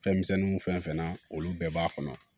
Fɛnmisɛnninw fɛn fɛn na olu bɛɛ b'a kɔnɔ